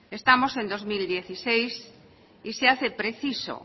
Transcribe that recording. estamos en dos mil dieciséis y se hace preciso